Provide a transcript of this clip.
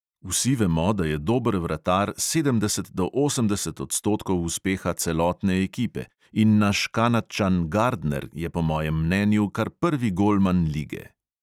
Vsi vemo, da je dober vratar sedemdeset do osemdeset odstotkov uspeha celotne ekipe, in naš kanadčan gardner je po mojem mnenju kar prvi golman lige.